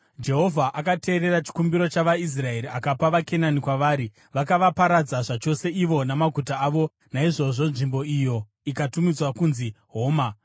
Jehovha akateerera chikumbiro chavaIsraeri akapa vaKenani kwavari. Vakavaparadza zvachose ivo namaguta avo; naizvozvo nzvimbo iyo ikatumidzwa kunzi Homa.